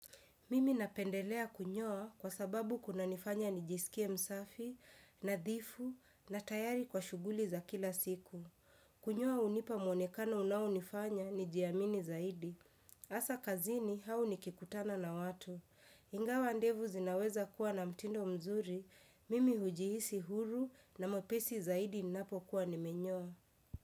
Mimi napendelea kunyoa kwa sababu kuna nifanya nijisikie msafi, nadhifu, na tayari kwa shughuli za kila siku. Kunyoa unipa mwonekano unawunifanya nijiamini zaidi. Asa kazini au nikikutana na watu. Ingawa ndevu zinaweza kuwa na mtindo mzuri, mimi hujihisi huru na mwepesi zaidi ninapo kuwa nimenyoa.